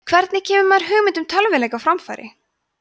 hvernig kemur maður hugmynd að tölvuleik á framfæri